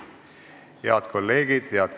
Head külalised!